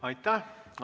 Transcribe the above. Aitäh!